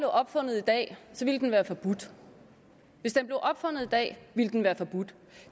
opfundet i dag så ville den være forbudt hvis den blev opfundet i dag ville den være forbudt